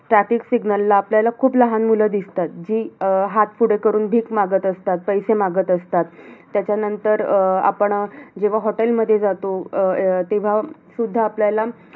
Traffic signal ला आपल्याला खूप लहान मुलं दिसतात. जी अं हात पुढे करून भीक मागत असतात, पैसे मागत असतात. त्याच्यानंतर अं आपण अं जेव्हा hotel मध्ये जातो. अं तेव्हा सुद्धा आपल्याला